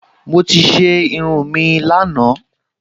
Mo ti ṣe irun mi lánàá